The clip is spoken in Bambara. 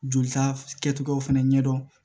Jolita kɛcogoyaw fana ɲɛdɔn